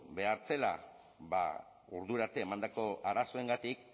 behar zela ordura arte emandako arazoengatik